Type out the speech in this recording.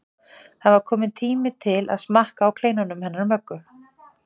Það var kominn tími til að smakka á kleinunum hennar Möggu.